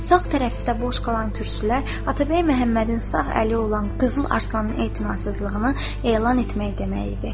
Sağ tərəfdə boş qalan kürsülər Atabəy Məhəmmədin sağ əli olan Qızıl Arslanın etinasızlığını elan etmək demək idi.